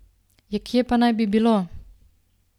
Ja kje pa naj bi bilo?